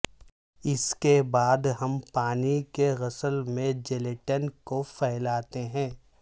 اس کے بعد ہم پانی کے غسل میں جیلیٹن کو پھیلاتے ہیں